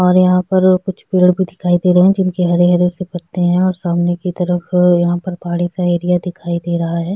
और यंहा पर कुछ पेड़ भी दिखाई दे रहै हैं जिनके हरे-हरे से पत्ते हैं और सामने की तरफ यंहा पहाड़ी सा एरिया दिखाई दे रहा है।